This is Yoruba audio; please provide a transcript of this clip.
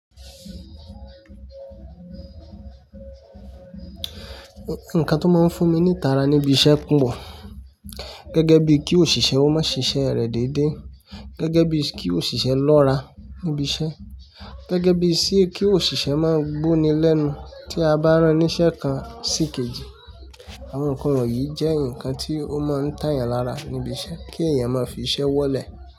Nǹkan tó máa ń fún mi ní ìtara níbi iṣẹ́ pọ̀. Gẹ́gẹ́ bí kí òṣìṣẹ́ ó má síṣe rẹ̀ dédé, gẹ́gẹ́ bí kí òṣìṣẹ́ lọ́ra níbi iṣẹ́, gẹ́gẹ́ bí sí kí òṣìṣẹ́ má gbo ni lẹ́nu tí a bá rán iṣẹ́ kan sí kejì. Àwọn ǹkan wọ̀nyí jẹ́ ǹkan tí ó máa ń tàyàn lára níbi iṣẹ́ kí èèyàn má fi iṣẹ́ wọ́lẹ̀